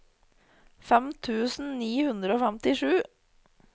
fem tusen ni hundre og femtisju